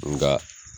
Nga